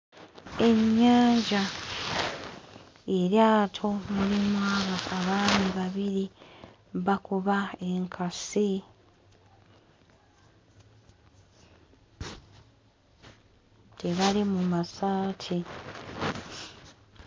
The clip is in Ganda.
Ennyanja eryato mulimu aba abaami babiri bakuba enkasi tebali mu masaati.